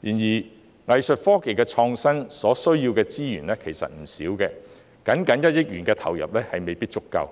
然而，藝術科技創新所需要的資源其實不少，僅僅1億元的投入未必足夠，